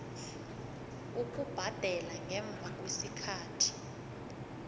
ukubhadela ngemva kwesikhathi